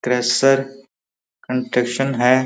Construction है।